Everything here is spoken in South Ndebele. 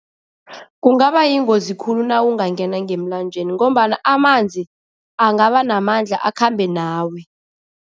Kungaba yingozi khulu nawungangena ngemlanjeni ngombana amanzi angaba namandla, akhambe nawe.